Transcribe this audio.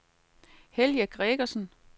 Helge Gregersen